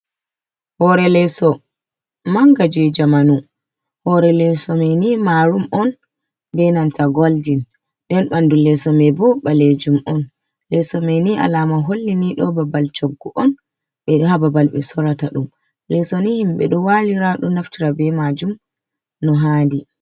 Hore leeso manga ji jamanu, hore leso maini marum on be nanta goldin, den ɓandu leso mai bo ɓalejum on, leso mai ni alama hollini ɗo babal coggo on, ɓe ɗo ha babal ɓe sorata ɗum leso ni himɓe ɗo walira ɗo naftira be majum no hadi.